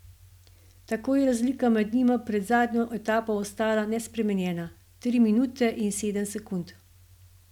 Tako je razlika med njima pred zadnjo etapo ostala nespremenjena, tri minute in sedem sekund.